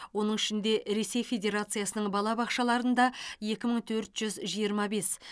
оның ішінде ресей федерациясының балабақшаларында екі мың төрт жүз жиырма бес